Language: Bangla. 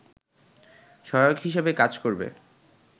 সহায়ক হিসেবে কাজ করবে